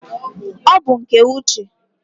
ọ bụ nke Uche.